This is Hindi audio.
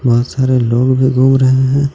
बोहोत सारे लोग भी गुम रहे हैं.